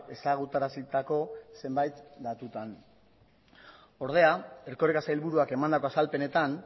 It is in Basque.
ezagutarazitako zenbait datutan ordea erkoreka sailburuak emandako azalpenetan